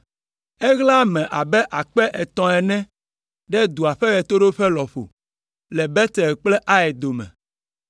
Eɣla ame abe akpe atɔ̃ ene ɖe dua ƒe ɣetoɖoƒe lɔƒo, le Betel kple Ai dome.